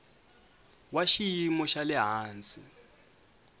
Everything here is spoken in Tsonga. wa xiyimo xa le hansi